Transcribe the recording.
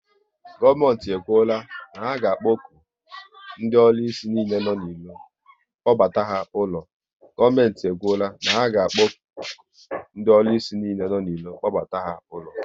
Gọọmenti e kwuola na ha ga akpokpu ndị ọrụsị niile nọ n'iro, kpọbata ha ụlọ